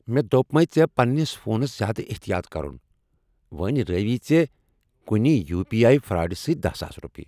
مےٚ دوپمے ژے٘ پنٛنس فونس زیادٕ احتیاط کرٗن، وۄنۍ رٲوی ژے٘ کُنہِ یو پی آٮٔی فراڈ سۭتۍ دہَ ساس روپیہ۔